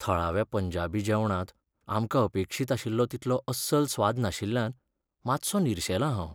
थळाव्या पंजाबी जेवणांत आमकां अपेक्षीत आशिल्लो तितलो अस्सल स्वाद नाशिल्ल्यान मातसो निरशेलां हांव.